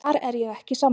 Þar er ég ekki sammála.